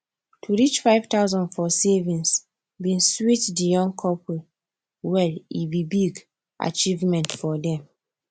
to reach 5000 for savings bin sweet the young couple well e be big achievement for dem